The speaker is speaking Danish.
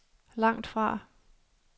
langtfra